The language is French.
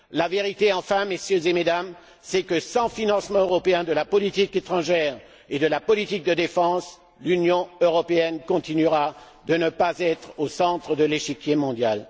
La vérité enfin, Mesdames et Messieurs, est que, sans financement européen de la politique étrangère et de la politique de défense, l'Union européenne continuera à ne pas être au centre de l'échiquier mondial.